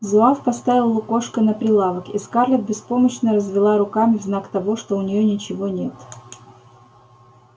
зуав поставил лукошко на прилавок и скарлетт беспомощно развела руками в знак того что у нее ничего нет